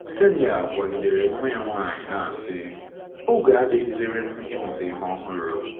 Kseniya gwagidere nwa ya nwanyị na asị, “ Oge adịghịziri m ịmụta ihe ọhụrụ. ”